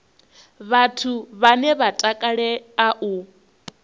vhathu vhane vha takalea u